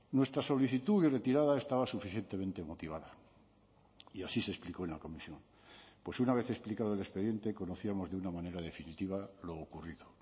nuestra solicitud y retirada estaba suficientemente motivada y así se explicó en la comisión pues una vez explicado el expediente conocíamos de una manera definitiva lo ocurrido